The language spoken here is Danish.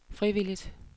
frivilligt